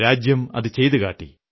രാജ്യമതു ചെയ്തുകാട്ടി